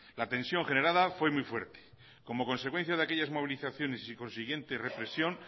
la tensión generada fue muy fuerte como consecuencia de aquellas movilizaciones y sin consiguiente represión